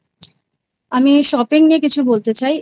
আ আমি shopping নিয়ে কিছু বলতে চাই।